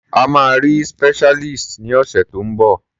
A máa rí specialist ní ọ̀sẹ̀ tó ń bọ̀.